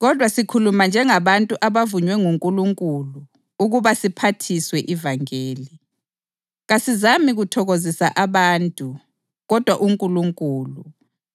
Kodwa sikhuluma njengabantu abavunywe nguNkulunkulu ukuba siphathiswe ivangeli. Kasizami kuthokozisa abantu kodwa uNkulunkulu,